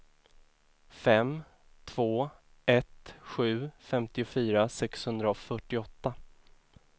fem två ett sju femtiofyra sexhundrafyrtioåtta